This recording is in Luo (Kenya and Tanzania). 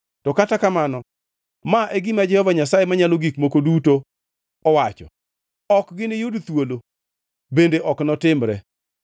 To kata kamano ma e gima Jehova Nyasaye Manyalo Gik Moko Duto owacho, “ ‘Ok giniyud thuolo, bende ok notimre,